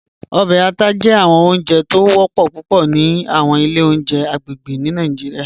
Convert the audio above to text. Ọbẹ àtà jẹ awọn ọ̀njẹ̀ tó ń wọ̀pọ̀ púpọ̀ ni awọn ilẹ̀ ọ̀njẹ̀ agbegbe ni Nigeria